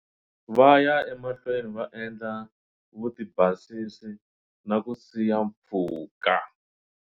Va ya emahlweni va endla vutibasisi na ku siya mpfhuka.